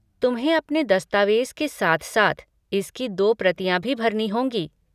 तुम्हें अपने दस्तावेज के साथ साथ इसकी दो प्रतियाँ भी भरनी होंगी।